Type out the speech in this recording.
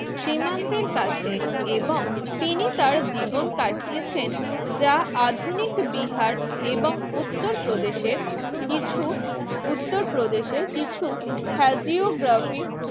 সীমান্তের কাছে এবং তিনি তার জীবন কাটিয়েছেন যা আধুনিক বিহার এবং উত্তরপ্রদেশের কিছু উত্তরপ্রদেশের কিছু হ্যাঁজিওগ্রাফিক